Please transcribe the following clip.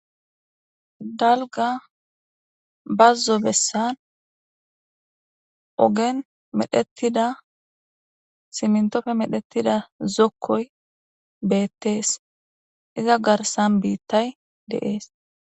dalga bazzo bessan ogen medhettida simntofe medhettida zokkoy beettees iza garsan biittay de'es